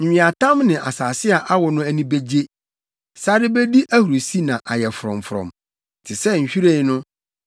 Nweatam ne asase a awo no ani begye; sare bedi ahurusi na ayɛ frɔmfrɔm. Te sɛ nhwiren no,